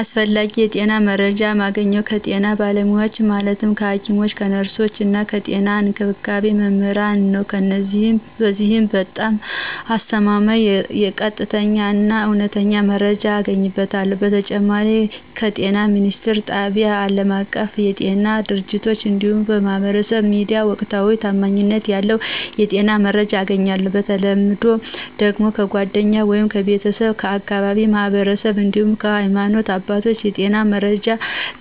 አስፈላጊ የጤና መረጃ ማገኘው ከጤና ባለሙያዎች ማለትም ከሐኪሞች፣ ከነርሶች እና ከጤና እንክብካቤ መምህራን ነዉ። በዚህም በጣም አስተማማኝ፣ ቀጥተኛ እና እውነተኛ መረጃ አገኝበታለሁ። በተጨማሪም ከጤና ሚኒስትር ጣቢያ፣ ከአለማቀፋዊ የጤና ድርጅቶች እንዲሁም ከማህበራዊ ሚዲያ ወቅታዊና ታማኝነት ያለው የጤና መረጃ አገኛለሁ። በተለምዶ ደግሞ ከጓደኛ ወይም ከቤተሰብ፣ ከአካባቢው ማህበረሰብ እንዲሁም ከሀይማኖት አባቶች የጤና መረጃ